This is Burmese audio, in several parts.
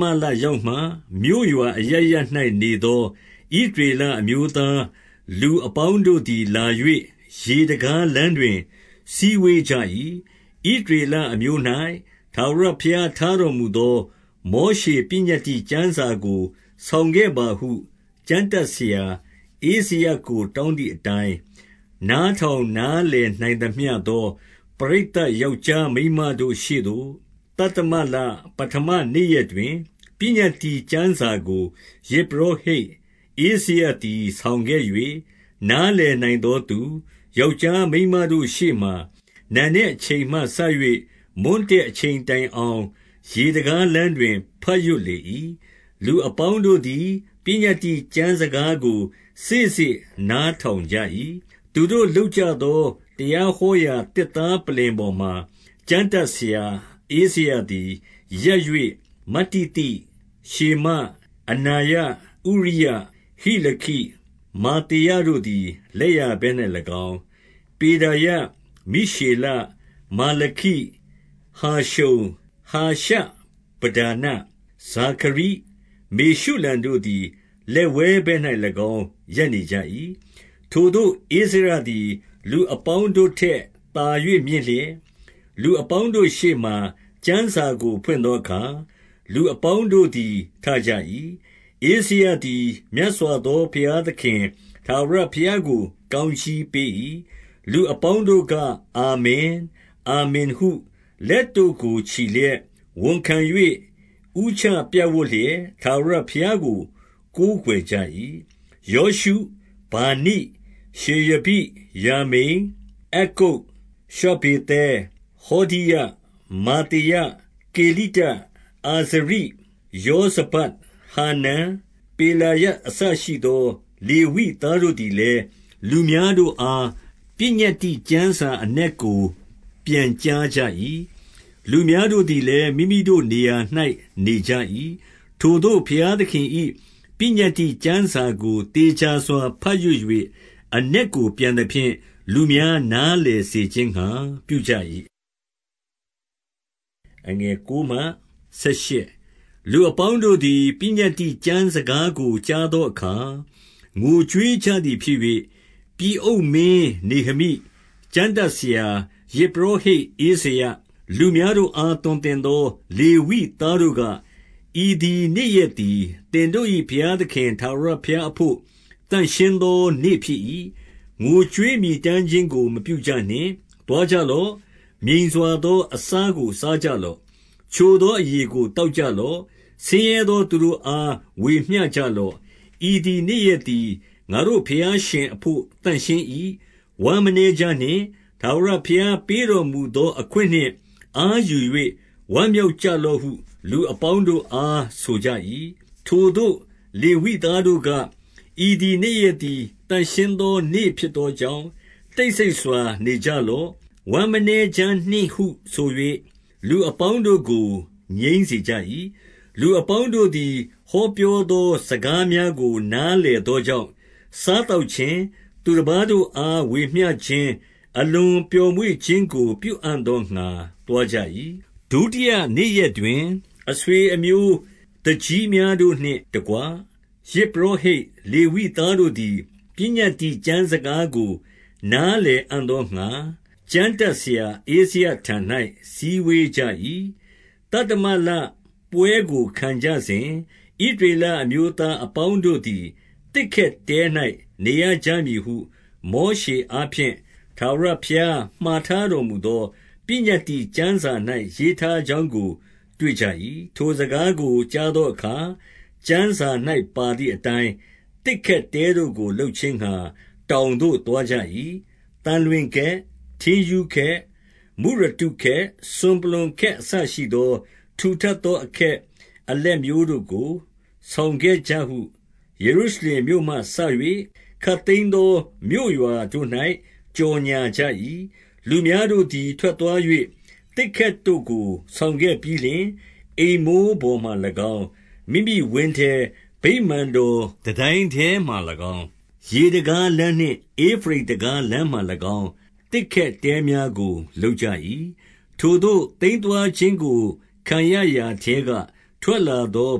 မလရောက်မှ၊ မြို့ရွာအရပ်ရပ်၌နေသော ဣသရေလ အမျိုးသားလူအပေါင်းတို့သည် လာ၍ ရေတံခါးလမ်းတွင် စည်းဝေးကြ၏။ ဣသရေလအမျိုး၌ ထာဝရဘုရားထားတော်မူသော မောရှေပညတ္တိကျမ်း စာကို ဆောင်ခဲ့ပါဟု ကျမ်းတတ်ဆရာ ဧဇရကို တောင်း သည်အတိုင်း၊ 2 နားထောင်နားလည်နိုင်သမျှသော ပရိသတ် ယောက်ျား မိန်းမတို့ ရှေ့သို့ သတ္တမလ ပဌမနေ့ရက်တွင်၊ ပညတ္တိကျမ်းစာကို ယဇ်ပုရောဟိတ် ဧဇရသည် ဆောင်ခဲ့ ၍၊ 3 နားလည်နိုင်သောသူ၊ ယောက်ျားမိန်းမတို့ ရှေ့မှာ နံနက်အချိန်မှ စ၍ မွန်းတည့်အချိန်တိုင်အောင် ရေတံခါးလမ်းတွင် ဘတ်ရွတ်လေ၏။ လူအပေါင်းတို့သည် ပညတ္တိကျမ်းစကားကို စေ့စေ့နားထောင်ကြ၏။ 4 သူတို့လုပ်ကြသော တရားဟောရာသစ်သား ပလ္လင်ပေါ်မှာ၊ ကျမ်းတတ်ဆရာဧဇရသည် ရပ်၍ မတ္တိသ၊ ရှေမ၊ အနာယ၊ ဥရိယ၊ ဟိလခိ၊ မာသေယတို့သည် လက်ျာဘက်၌၎င်း၊ ပေဒါယ၊ မိရှေလ၊ မာလခိ၊ ဟာရှုံ၊ ဟာရှဗဒါန၊ ဇာခရိ၊ မေရှုလံတို့သည် လက်ဝဲဘက်၌၎င်း ရပ်နေကြ၏။ 5 ထိုသို့ ဧဇရသည် လူအပေါင်းတို့ထက်သာ၍ မြင့်လျက်၊ လူအပေါင်းတို့ရှေ့မှာ ကျမ်းစာကို ဖွင့်သောအခါ၊ ဠူအပေါင်းတို့သည် ထကြ၏။ 6 ဧဇရသည် မြတ်စွာဘုရားသခင် ထာဝရဘုရား ကို ကောင်းကြီးပေး၏။ လူအပေါင်းတို့က အာမင်၊ အာမင်ဟု လက်တို့ကို ချီလျက်၊ ဝန်ခံ၍ ဦးချပြပ်ဝပ်လျက် ထာဝရဘုရားကို ကိုးကွယ်ကြ၏။ 7 ယောရှု၊ ဗာနိ၊ ရှေရဘိ၊ ယာမိန်၊ အက္ကုပ်၊ ရှဗ္ဗေသဲ၊ ဟောဒိယ၊ မာသေယ၊ ကေလိတ၊ အာဇရိ၊ ယောဇဗဒ်၊ ဟာနန်၊ ပေလာယအစ ရှိသော လေဝိသားတို့သည်လည်း လူများတို့အား ပညတ္တိကျမ်းစာအနက်ကို ပြန်ကြားကြ၏။ လူများတို့သည်လည်း မိမိတို့နေရာ၌ နေကြ၏။ 8 ထိုသို့ဘုရားသခင်၏ ပညတ္တိကျမ်းစာကို သေချာစွာ ဘတ်ရွတ်၍ အနက်ကိုပြန်သဖြင့်၊ လူများ နားလည်စေခြင်းငှါ ပြုကြ၏။ 9 လူအပေါင်းတို့သည် ပညတ္တိကျမ်းစကားကို ကြားသောအခါ ငိုကြွေးကြသည်ဖြစ်၍၊ ပြည်အုပ်မင်း နေဟမိ၊ ကျမ်းတတ်ဆရာ ယဇ်ပုရောဟိတ် ဧဇရ၊ လူများ တို့အား သွန်သင်သော လေဝိသားတို့က၊ ဤသည်နေ့ရက် သည် သင်တို့၏ ဘုရားသခင် ထာဝရဘုရားအဘို့ သန့်ရှင်းသော နေ့ဖြစ်၏။ ငိုကြွေးမြည်တမ်းခြင်းကို မပြုကြနှင့်။ 10 သွားကြလော့၊ မြိန်စွာသော အစာကိုစားကြ လော့။ ချိုသော အရည်ကိုသောက်ကြလော့။ ဆင်းရဲသော သူတို့အား ဝေမျှကြလော့။ ဤသည်နေ့ရက်သည် ငါတို့ ဘုရားရှင်အဘို့ သန့်ရှင်း၏။ ဝမ်းမနည်းကြနှင့်၊ ထာဝရ ဘုရားပေးတော်မူသောအခွင့်နှင့် အားယူ၍ ဝမ်းမြောက် ကြလော့ဟု လူအပေါင်းတို့အား ဆိုကြ၏။ 11 ထိုသို့ လေဝိသားတို့က၊ ဤသည်နေ့ရက်သည် သန့်ရှင်းသော နေ့ဖြစ်သောကြောင့် တိတ်ဆိတ်စွာ နေကြ လော့။ ဝမ်းနည်းမနေကြနှင့်ဟု ဆို၍ လူအပေါင်းတို့ကို ငြိမ်းစေကြ၏။ 12 လူအပေါင်းတို့သည် ဟောပြောသော စကား များကို နားလည်သောကြောင့်၊ စားသောက်ခြင်း၊ သူတပါး တို့အား ဝေမျှခြင်း၊ အလွန်ပျော်မွေ့ခြင်းကို ပြုအံ့သောငှါ သွားကြ၏။ 13 ဒုတိယနေ့ရက်တွင်၊ အဆွေအမျိုးသူကြီးများတို့ နှင့်တကွ ယဇ်ပုရောဟိတ် လေဝိသားတို့သည် ပညတ္တိ ကျမ်းစကားကို နားလည်အံ့သောငှါ၊ ကျမ်းတတ်ဆရာ ဧဇရထံ၌ စည်းဝေးကြ၏။ 14 သတ္တမလပွဲကိုခံကြစဉ်၊ ဣသရေအမျိုးသား အပေါင်းတို့သည် သစ်ခက်တဲ၌ နေရကြမည်ဟု မောရှေ အားဖြင့် ထာဝရဘုရားထားတော်မူသော ပညတ္တိ ကျမ်းစာ၌ ရေးထားကြောင်းကို တွေ့ကြ၏။ 15 ထိုစကားကို ကြားသောအခါ၊ ကျမ်းစာ၌ ပါသည်အတိုင်း သစ်ခက်တဲတို့ကိုလုပ်ခြင်းငှါ တောင်သို့ သွားကြ။ သံလွင်ခက်၊ ထင်းရူးခက်၊ မုရတုခက်၊ စွန်ပလွံ ခက် အစရှိသော ထူထပ်သောအခက် အလက်မျိုးတို့ကို ဆောင်ခဲ့ကြဟု ယေရုရှလင်မြို့မှစ၍ ခပ်သိမ်းသော မြို့ရွာတို့၌ ကြော်ငြာကြ၏။ 16 လူများတို့သည် ထွက်သွား၍၊ သစ်ခက်တို့ကို ဆောင်ခဲ့ပြီးလျှင် အိမ်မိုးပေါ်မှာ၎င်း၊ မိမိဝင်းထဲ၊ ဗိမာန် တော်တန်တိုင်းထဲမှာ၎င်း၊ ရေတံခါးလမ်းနှင့် ဧဖရိမ်တံခါး လမ်းမှာ၎င်း သစ်ခက်တဲများကို လုပ်ကြ၏။ 17 ထိုသို့သိမ်းသွားခြင်းကို ခံရရာထဲကထွက်လာ သော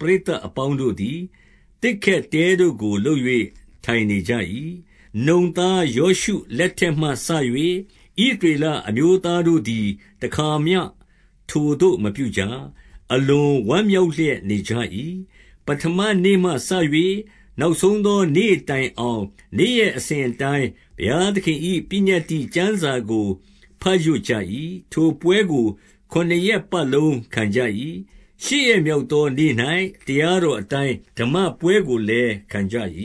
ပရိသတ်အပေါင်းတို့သည် သစ်ခက်တဲတို့ကို လုပ်၍ ထိုင်နေကြ၏။ နုန်သား ယောရှုလက်ထက်မှစ၍ ဣသ ရေလအမျိုးသားတို့သည် တခါမျှ ထိုသို့မပြုကြ။ အလွန် ဝမ်းမြောက်လျက်နေကြ၏။ 18 ပဌမနေ့မှစ၍ နောက်ဘုရားသခင်၏ ပညတ္တိ ကျမ်းစာကို ဘတ်ရွတ်ကြ၏။ ထိုပွဲကို ခုနစ်ရက်ပတ်လုံး ခံကြ၏။ ရှစ်ရက်မြောက်သောနေ့၌ တရားတော်အတိုင်း ဓမ္မပွဲကိုလည်းခဲ့ကြ၏။